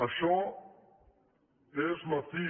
això és la fi